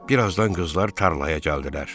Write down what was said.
Bir azdan qızlar tarlaya gəldilər.